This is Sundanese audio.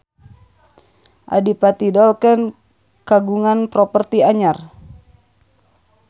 Adipati Dolken kagungan properti anyar